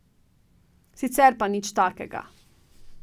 Sicer pa nič takega.